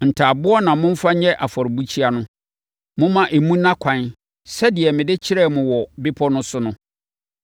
Ntaaboɔ na momfa nyɛ afɔrebukyia no. Momma emu nna ɛkwan sɛdeɛ mede kyerɛɛ mo wɔ bepɔ no so no.